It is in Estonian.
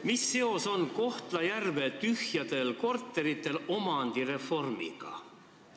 Mis seos on Kohtla-Järve tühjadel korteritel omandireformiga?